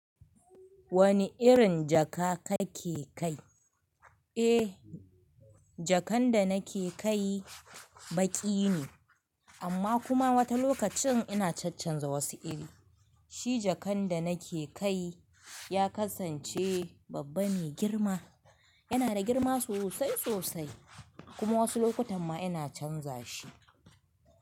Wane irin jaka kake kai? Eh, jakan da nake kai baƙi ne, amma kuma wata lokacin ina chanchanza wasu iri. Shi jakan da nake kai ya kasance babba mai girma. Yana da girma sosai sosai kuma wasu lokutan ma ina canza shi.